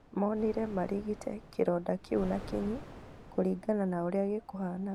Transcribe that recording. Monire marigite kĩronda kĩu na kinyi kũringana na ũrĩa gĩkũhanaga